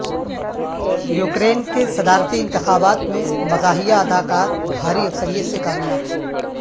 Ukraine کے صدارتی انتخابات میں مزاحیہ اداکار بھاری اکثریت سے کامیاب